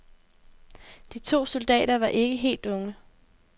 De to soldater var ikke helt unge.